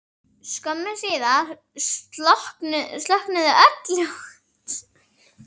Skömmu síðar slokknuðu öll ljós.